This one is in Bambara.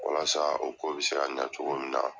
Walasa u ko bɛ se ka ɲɛ cogo min na.